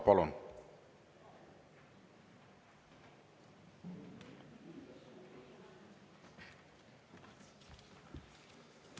Palun!